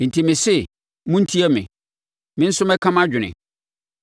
“Enti mese: Montie me; me nso mɛka mʼadwene.